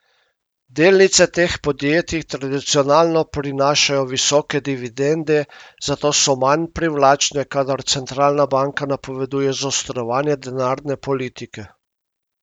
Delnice teh podjetij tradicionalno prinašajo visoke dividende, zato so manj privlačne, kadar centralna banka napoveduje zaostrovanje denarne politike.